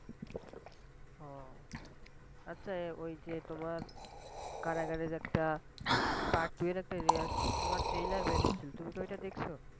আচ্ছা ওই যে তোমার কারাগারের একটা Part টু এর একটা Trailer বের হইছিল, তুমি কি ওটা দেখছ?